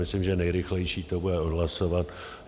Myslím, že nejrychlejší bude to odhlasovat.